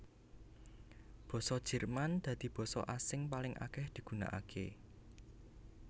Basa Jerman dadi basa sing paling akèh digunakaké